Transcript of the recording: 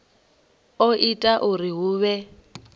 o ita uri hu vhe